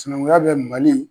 Sinaŋunya bɛ Mali